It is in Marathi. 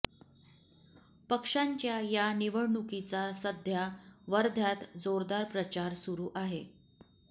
पक्षांच्या या निवडणुकीचा सध्या वर्ध्यात जोरदार प्रचार सुरू आहे